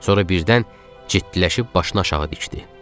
Sonra birdən ciddiləşib başını aşağı dikdi.